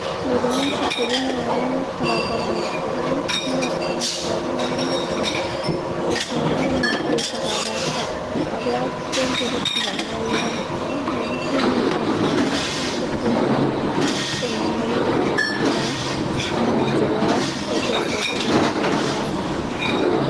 Rĩrĩa macukuru na arĩa makoragwo na itemi maroraga aciari marĩ na hinya, aciari nĩ matuĩkaga arata arĩa tũngĩrutithania wĩra nao nĩguo tũnyite mbaru na tũkũrie ũmenyeru na gũkũra, na njĩra ĩyo tũkũrie ũhoti wa arutwo wa STEAM